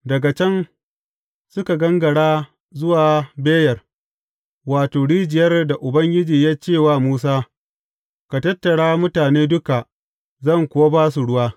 Daga can, suka gangara zuwa Beyer, wato, rijiyar da Ubangiji ya ce wa Musa, Ka tattara mutane duka, zan kuwa ba su ruwa.